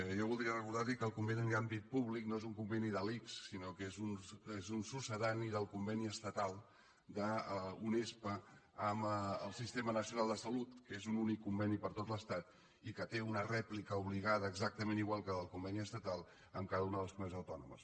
jo voldria recordar li que el conveni d’àmbit públic no és un conveni de l’ics sinó que és un succedani del conveni estatal d’unespa amb el sistema nacional de salut que és un únic conveni per a tot l’estat i que té una rèplica obligada exactament igual que la del conveni estatal amb cada una de les comunitats autònomes